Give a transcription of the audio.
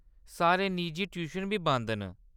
सारे निजी ट्यूशन बी बंद न।